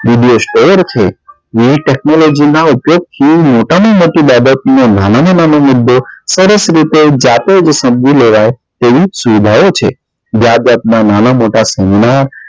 વિદેશ છે નવી technology ના ઉપયોગ કેવી મોટા માં મોટી બાબત કે નાના માં નાના મુદ્દે સરસ રીતે જાતે જ સમજી લેવાય તેવી સુવિધાઓ છે જાત જાત ના નાના મોટા સોના